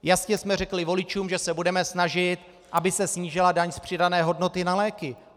Jasně jsme řekli voličům, že se budeme snažit, aby se snížila daň z přidané hodnoty na léky.